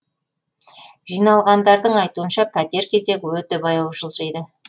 жиналғандардың айтуынша пәтер кезегі өте баяу жылжиды